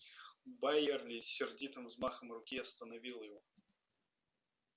байерли сердитым взмахом руки остановил его